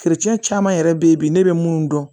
caman yɛrɛ be yen bi ne bɛ mun dɔn